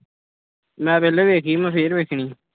ਮੈਂ ਪਹਿਲਾਂ ਵੇਖੀ ਸੀ ਮੈਂ ਫਿਰ ਵੇਖਣੀ